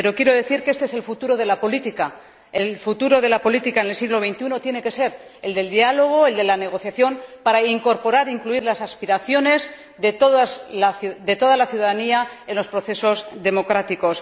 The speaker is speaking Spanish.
Pero quiero decir que este es el futuro de la política el futuro de la política en el siglo XXI tiene que ser el diálogo, la negociación, para incorporar e incluir las aspiraciones de toda la ciudadanía en los procesos democráticos.